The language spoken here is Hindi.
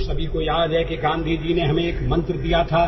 हम सभी को याद है कि गाँधी जी ने हमें एक मंत्र दिया था